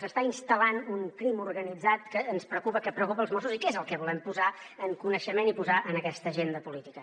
s’està instal·lant un crim organitzat que és el que ens preocupa que preocupa els mossos i que és el que volem posar en coneixement i posar en aquesta agenda política